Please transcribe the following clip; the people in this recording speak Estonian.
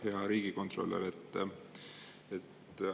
Hea riigikontrolör!